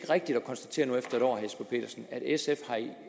rigtigt at konstatere at sf